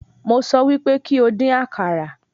Mo sọ wí pé kí o dín àkàrà.